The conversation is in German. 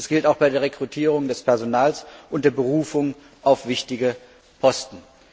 Das gilt auch bei der Einstellung des Personals und der Berufung auf wichtige Posten.